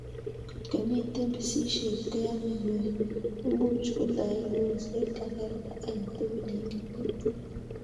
Kotko mito pisishet koyamei ko imuch kotoi kolset kasarta agetugul eng kenyit